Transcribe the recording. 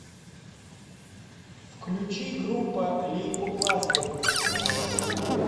включи группа лейкопластырь